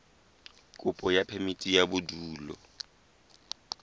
kopo ya phemiti ya bodulo